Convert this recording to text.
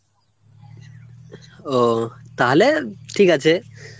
ও ,তাহলে ঠিক আছে